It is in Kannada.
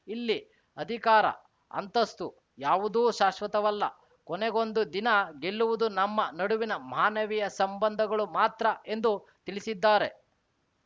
ಇಲ್ಲಿ ಅಧಿಕಾರ ಅಂತಸ್ತು ಯಾವುದೂ ಶಾಶ್ವತವಲ್ಲ ಕೊನೆಗೊಂದು ದಿನ ಗೆಲ್ಲುವುದು ನಮ್ಮ ನಡುವಿನ ಮಾನವೀಯ ಸಂಬಂಧಗಳು ಮಾತ್ರ ಎಂದು ತಿಳಿಸಿದ್ದಾರೆ